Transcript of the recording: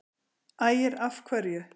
Ægir: Af hverju?